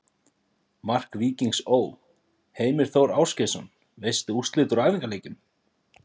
Mark Víkings Ó.: Heimir Þór Ásgeirsson Veistu úrslit úr æfingaleikjum?